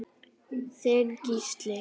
Þinn Gísli.